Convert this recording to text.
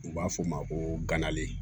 U b'a f'o ma ko ganalen